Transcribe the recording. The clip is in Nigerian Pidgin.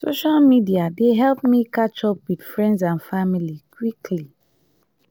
social media dey help me catch up with friends and family quickly.